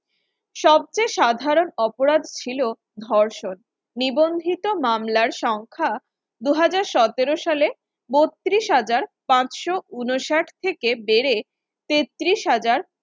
সবচেয়ে সাধারণ অপরাধ ছিল ধর্ষণ নিবঞ্জিত মামলার সংখ্যা দু হাজার সতের সালে বত্রিশ হাজার পাঁচশ উনষাট থেকে বেড়ে তেত্রিশ হাজার